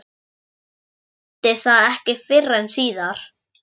Hún skildi það ekki fyrr en síðar.